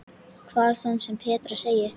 Hvað svo sem Petra segir.